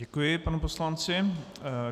Děkuji panu poslanci.